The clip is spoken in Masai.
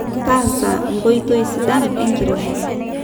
taasa nkoitoi sidan enkiremore